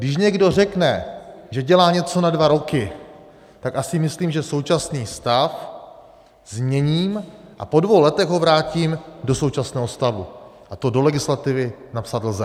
Když někdo řekne, že dělá něco na dva roky, tak asi myslím, že současný stav změním a po dvou letech ho vrátím do současného stavu, a to do legislativy napsat lze.